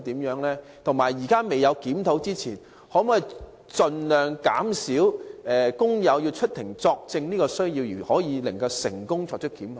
在現時檢討未完成之前，當局可否盡可能在豁免工友出庭作證的情況下，仍能成功作出檢控？